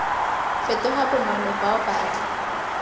fetoga bonolo bao ba tla